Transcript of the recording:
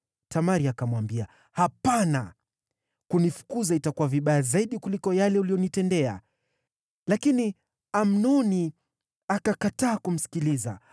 Tamari akamwambia, “Hapana! Kunifukuza itakuwa vibaya zaidi kuliko yale uliyonitendea.” Lakini Amnoni akakataa kumsikiliza.